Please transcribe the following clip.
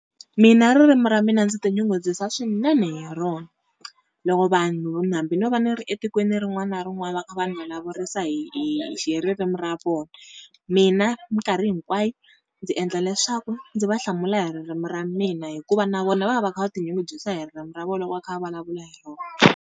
Mina ririmi ra mina ndzi tinyungubyisa swinene hi rona. Loko vanhu hambi no va ni ri etikweni rin'wana na rin'wana va kha va ni vulavurisa hi hi hi ririmi ra vona mina minkarhi hinkwayo ndzi endla leswaku ndzi va hlamula hi ririmi ra mina. Hikuva na vona va va va kha va tinyungubyisa hi ririmi ra vona loko va kha va vulavula hi rona.